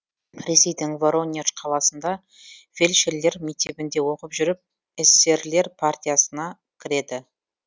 ресейдің воронеж қаласында фельдшерлер мектебінде оқып жүріп эсерлер партиясына кіреді